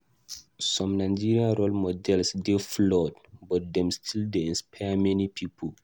Some Nigerian role models dey flawed, but dem still dey inspire many pipo.